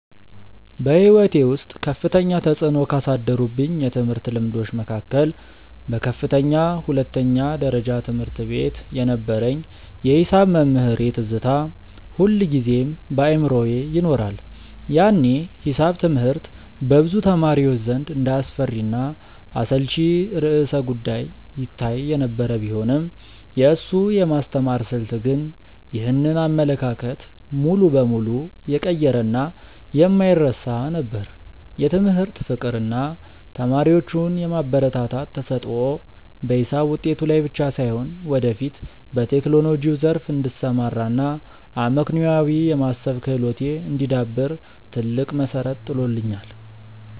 በሕይወቴ ውስጥ ከፍተኛ ተፅዕኖ ካሳደሩብኝ የትምህርት ልምዶች መካከል በከፍተኛ ሁለተኛ ደረጃ ትምህርት ቤት የነበረኝ የሒሳብ መምህሬ ትዝታ ሁልጊዜም በአእምሮዬ ይኖራል። ያኔ ሒሳብ ትምህርት በብዙ ተማሪዎች ዘንድ እንደ አስፈሪና አሰልቺ ርዕሰ-ጉዳይ ይታይ የነበረ ቢሆንም፣ የእሱ የማስተማር ስልት ግን ይህንን አመለካከት ሙሉ በሙሉ የቀየረና የማይረሳ ነበር። የትምህርት ፍቅር እና ተማሪዎቹን የማበረታታት ተሰጥኦ በሒሳብ ውጤቴ ላይ ብቻ ሳይሆን፣ ወደፊት በቴክኖሎጂው ዘርፍ እንድሰማራ እና አመክንዮአዊ የማሰብ ክህሎቴ እንዲዳብር ትልቅ መሠረት ጥሎልኛል።